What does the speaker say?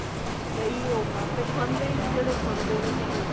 ਕਈ ਉਹ ਖਾਂਦੇ ਨੇ ਜਿਹੜੇ ਖਾਂਦੇ ਨੇ ਪਰ